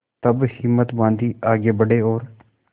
तब हिम्मत बॉँधी आगे बड़े और